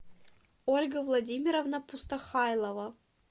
ольга владимировна пустохайлова